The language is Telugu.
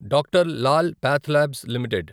డ్ర్ లాల్ పాథ్లాబ్స్ లిమిటెడ్